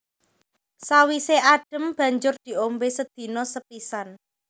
Sawisé adhem banjur diombé sedina sepisan